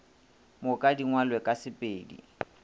moka di ngwalwe ka sepedi